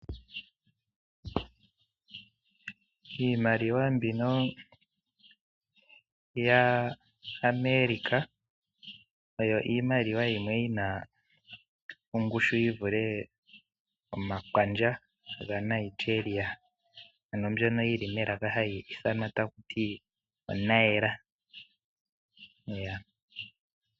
Iimaliwa mbino yaAmerica oyo iimaliwa yimwe yina ongushu yivule omakwandja gaNigeria, ano yili melaka taku ti oNaera.